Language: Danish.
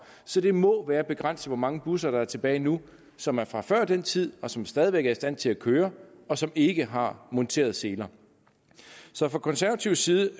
så det må være begrænset hvor mange busser der er tilbage nu som er fra før den tid og som stadig væk er i stand til at køre og som ikke har påmonteret seler så fra konservativ side